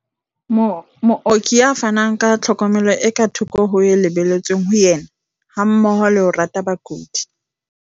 Mooki ya fanang ka tlhokomelo e ka thoko ho e lebelletsweng ho yena, hammoho le ho rata bakudi.